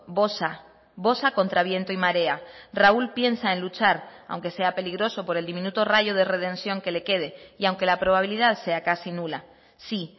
bosa bosa contra viento y marea raúl piensa en luchar aunque sea peligroso por el diminuto rayo de redención que le quede y aunque la probabilidad sea casi nula sí